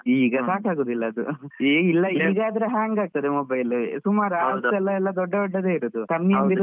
ಈಗ ಸಾಕುಗುದಿಲ್ಲ ಅದು ಈಗ ಆದ್ರೆ hang ಆಗ್ತದೆ. mobile ಸುಮಾರ್ ದೊಡ್ಡ ದೊಡ್ಡದೇ ಇರೋದು .